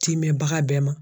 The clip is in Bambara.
Ti mɛn bagan bɛɛ ma.